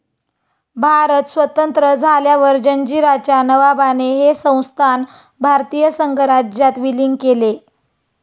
भारत स्वतंत्र झाल्यावर जंजीराच्या नवाबाने हे संस्थान भारतीय संघराज्यात विलीन केले.